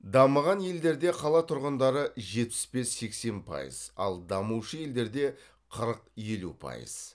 дамыған елдерде қалатұрғындары жетпіс бес сексен пайыз ал дамушы елдерде қырық елу пайыз